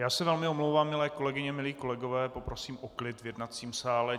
Já se velmi omlouvám, milé kolegyně, milí kolegové, poprosím o klid v jednacím sál.